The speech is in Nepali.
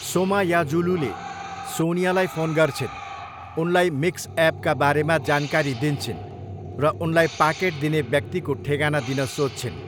सोमायाजुलूले सोनियालाई फोन गर्छिन्, उनलाई मिक्सएपका बारेमा जानकारी दिन्छिन् र उनलाई पाकेट दिने व्यक्तिको ठेगाना दिन सोध्छिन्।